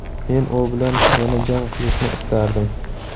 Men u bilan yana jang qilishni istardim.